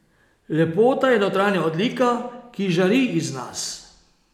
Lepota je notranja odlika, ki žari iz nas.